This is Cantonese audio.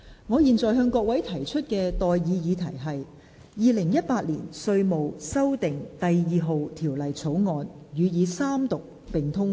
我現在向各位提出的待議議題是：《2018年稅務條例草案》予以三讀並通過。